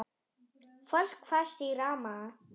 Fólk fast í ramma?